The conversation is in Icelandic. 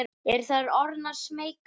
Eru þær orðnar smeykar?